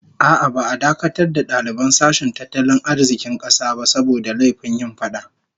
A'a, ba'a dakatar da daliban sashen tattalin arzikin kasa ba saboda laifin yin fada